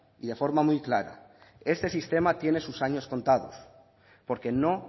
y de forma muy clara este sistema tiene sus años contados porque no